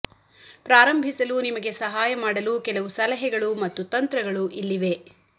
ಪ್ರಾರಂಭಿಸಲು ನಿಮಗೆ ಸಹಾಯ ಮಾಡಲು ಕೆಲವು ಸಲಹೆಗಳು ಮತ್ತು ತಂತ್ರಗಳು ಇಲ್ಲಿವೆ